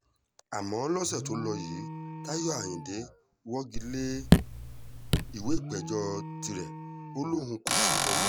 àmọ́ lọ́sẹ̀ tó lò yìí táyọ̀ ayíǹde wọ́gi lé ìwé ìpéjọ tirẹ̀ ó lóun kò ṣèjọ mọ́